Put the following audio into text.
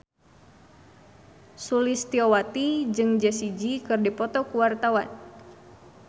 Sulistyowati jeung Jessie J keur dipoto ku wartawan